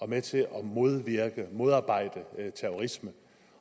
med til at modvirke og modarbejde terrorisme